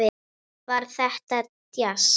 Var þetta djass?